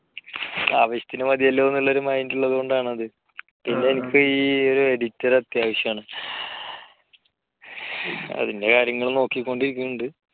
ആവശ്യത്തിനു മതിയല്ലോ എന്നുള്ള ഒരു mind ഉള്ളതുകൊണ്ട് ആണത്. പിന്നെ എനിക്ക് ഈ ഒരു editor അത്യാവശ്യം ആണ്. അതിന്റെ കാര്യങ്ങൾ നോക്കിക്കൊണ്ടിരിക്കുന്നുണ്ട്.